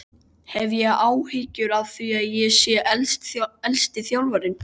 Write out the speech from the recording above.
Hef ég áhyggjur af því að ég sé elsti þjálfarinn?